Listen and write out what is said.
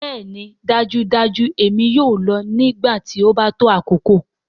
Bẹẹni dajudaju èmi yoo lọ nigbati o ba to akoko.